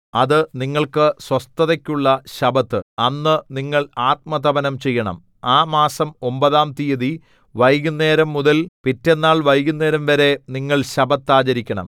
അത് നിങ്ങൾക്ക് സ്വസ്ഥതയ്ക്കുള്ള ശബ്ബത്ത് അന്ന് നിങ്ങൾ ആത്മതപനം ചെയ്യണം ആ മാസം ഒമ്പതാം തീയതി വൈകുന്നേരംമുതൽ പിറ്റെന്നാൾ വൈകുന്നേരംവരെ നിങ്ങൾ ശബ്ബത്ത് ആചരിക്കണം